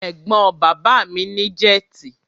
Ẹ̀gbọ́n bàbá mi ní jẹ́tì.